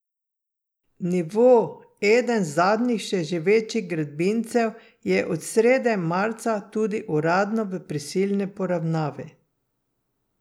Nivo, eden zadnjih še živečih gradbincev, je od srede marca tudi uradno v prisilni poravnavi.